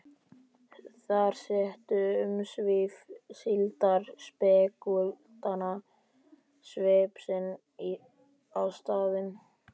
Þar settu umsvif síldarspekúlanta svip sinn á staðina.